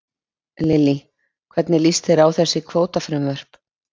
Lillý: Hvernig líst þér á þessi kvótafrumvörp?